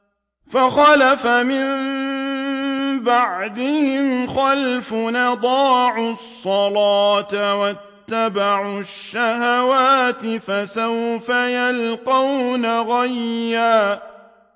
۞ فَخَلَفَ مِن بَعْدِهِمْ خَلْفٌ أَضَاعُوا الصَّلَاةَ وَاتَّبَعُوا الشَّهَوَاتِ ۖ فَسَوْفَ يَلْقَوْنَ غَيًّا